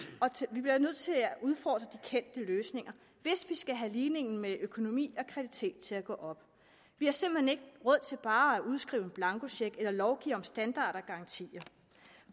vi bliver nødt til at at udfordre de kendte løsninger hvis vi skal have ligningen med økonomi og kvalitet til at gå op vi har simpelt hen råd til bare at udskrive en blankocheck eller lovgive om standarder og garantier